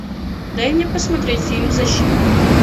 дай мне посмотреть фильм защитник